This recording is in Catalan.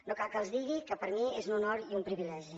no cal que els digui que per mi és un honor i un privilegi